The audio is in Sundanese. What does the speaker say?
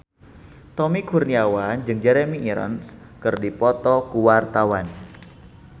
Tommy Kurniawan jeung Jeremy Irons keur dipoto ku wartawan